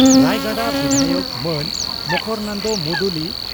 ᱨᱟᱭᱜᱟᱰᱟ ᱵᱤᱫᱷᱟᱭᱚᱠ ᱢᱟᱹᱱ ᱢᱚᱠᱚᱨᱚᱱᱫᱚ ᱢᱩᱫᱩᱞᱤ